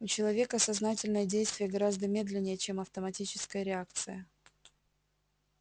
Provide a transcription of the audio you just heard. у человека сознательное действие гораздо медленнее чем автоматическая реакция